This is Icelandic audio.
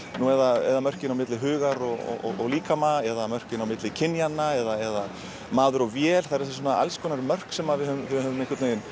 eða mörkin á milli hugar og líkama eða mörkin á milli kynjanna eða maður og vél það eru alls konar mörk sem við höfum höfum